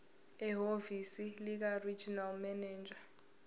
ehhovisi likaregional manager